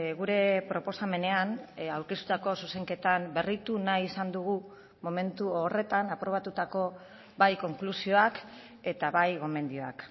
gure proposamenean aurkeztutako zuzenketan berritu nahi izan dugu momentu horretan aprobatutako bai konklusioak eta bai gomendioak